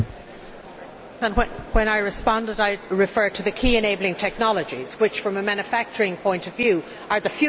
When I responded I referred to key enabling technologies which, from a manufacturing point of view, are the future of Europe.